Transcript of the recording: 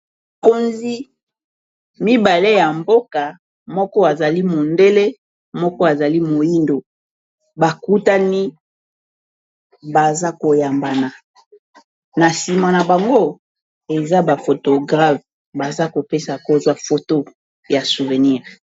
Bakonzi mibale ya mboka moko azali mondele moko azali moyindo bakutani baza ko yambana na nsima na bango eza ba fotographe baza kopesa kozwa foto ya souvenir.